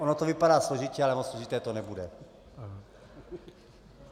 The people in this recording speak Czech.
Ono to vypadá složitě, ale moc složité to nebude.